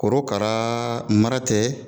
Korokara mara tɛ